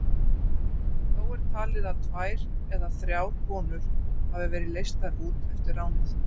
Þó er talið að tvær eða þrjár konur hafi verið leystar út eftir ránið.